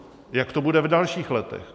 Jak to bude v dalších letech?